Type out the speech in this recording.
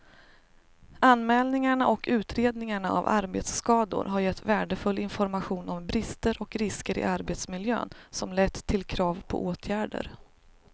Anmälningarna och utredningarna av arbetsskador har gett värdefull information om brister och risker i arbetsmiljön som lett till krav på åtgärder.